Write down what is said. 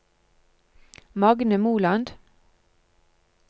Magne Moland